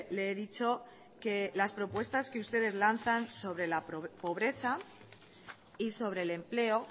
le he dicho que las propuestas que ustedes lanzan sobre la pobreza y sobre el empleo